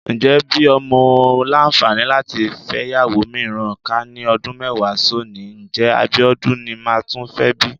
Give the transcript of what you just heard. Ǹjẹ́ bí mo làǹfààní láti fẹ́yàwó mìíràn, ká ní ọdún mẹ́wàá sónìí, ǹjẹ́ Abíọ́dún ni máa tún fẹ́ bí?